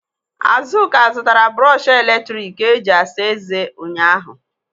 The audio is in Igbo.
Azụka zụtara brọshị eletrik e ji asa ezé ụnyaahụ.